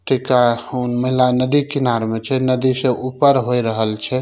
मेला नदी किनारे में छै नदी से ऊपर होइ रहल छै।